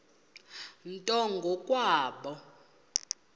nto ngo kwabo